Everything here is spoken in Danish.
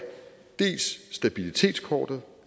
jo